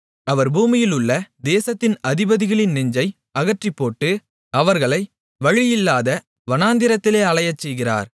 அவர் பூமியிலுள்ள தேசத்தின் அதிபதிகளின் நெஞ்சை அகற்றிப்போட்டு அவர்களை வழியில்லாத வனாந்திரத்திலே அலையச்செய்கிறார்